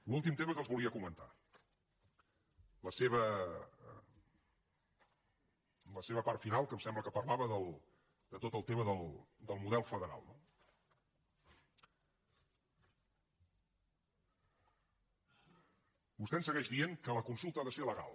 l’últim tema que els volia comentar la seva part final que em sembla que parlava de tot el tema del model federal no vostè ens segueix dient que la consulta ha de ser legal